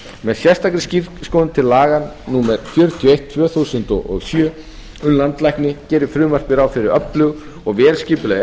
með sérstakri skírskotun til laga númer fjörutíu og eitt tvö þúsund og sjö um landlækni gerir frumvarpið ráð fyrir öflugu og vel skipulögðu eftirliti